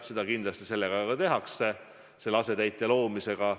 Seda kindlasti ka tehakse selle asetäitja koha loomisega.